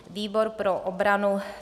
Výbor pro obranu: